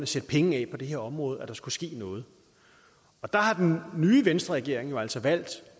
sætte penge af på det her område så der kunne ske noget og der har den nye venstreregering jo altså valgt